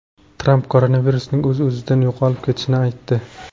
Tramp koronavirusning o‘z-o‘zidan yo‘qolib ketishini aytdi.